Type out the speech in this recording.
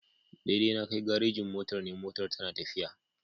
Daidai na Kai garejin motar NE motar tana tafiya.